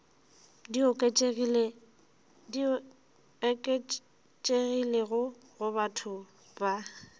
di oketšegilego go batho ba